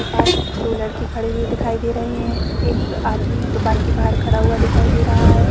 के पास दो लड़के खड़े हुए दिखाई दे रहे है एक आदमी दुकान के बाहर खड़ा हुआ दिखाई दे रहा हैं ।